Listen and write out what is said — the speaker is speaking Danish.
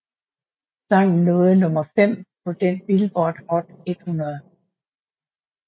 Sangen nåede nummer 5 på den Billboard Hot 100